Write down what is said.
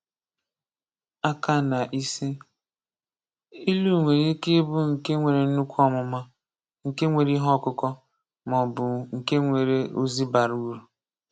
Aka na isi: Ilu nwere ike ịbụ nke nwere nnukwu ọmụma, nke nwere ihe ọkụkọ, maọbụ nke nwere ozi bara uru.